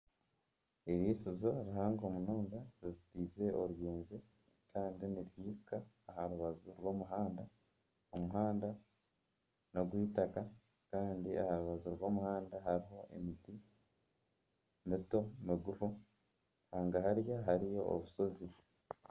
Eiriisizo rihango munonga rizitaize oruyenje kandi niryihika aha rubaju rw'omuhanda, omuhanda nogw'eitaaka kandi aha rubaju rw'omuhanda hariho emiti mito migufu hagahari hariyo obushozi.